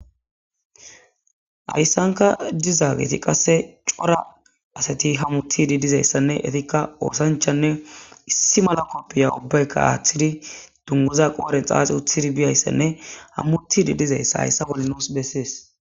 Haysanka djzageti qase issi cora asat hamutudi diyaysanne etika osanchanne issi mala kopiya ubbayka aathidi dunguza qodhen xaaxi utid biyaysanne hamutudi dizaysa haysa bolli nusi beses.